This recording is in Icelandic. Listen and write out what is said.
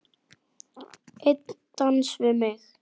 Einn dans við mig